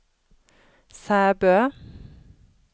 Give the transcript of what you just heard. Sæbø